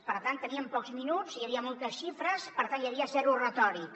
per tant teníem pocs minuts i hi havia moltes xifres per tant hi havia zero retòrica